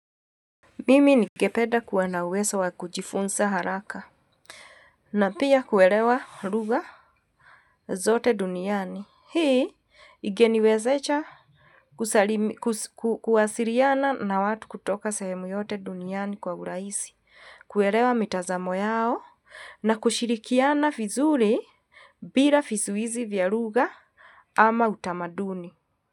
Mimi ningependa kuwa na uwezo wa kujifunza haraka. Na pia kuelewa lugha zote duniani. Hii, ingeniwezesha kuwasiliana na watu kutoka sehemu yote duniani kwa urahisi. Kuelewa mitanzamo yao na kushirikiana vizuri bila vizuizi vya lugha ama utamaduni.